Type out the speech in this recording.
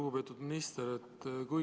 Lugupeetud minister!